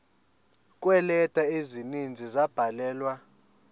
kweeleta ezininzi ezabhalelwa